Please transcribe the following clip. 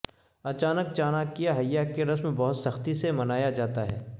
اچانک چاناکیاہیا کی رسم بہت سختی سے منایا جاتا ہے